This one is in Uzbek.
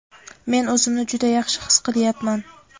Men o‘zimni juda yaxshi his qilyapman!.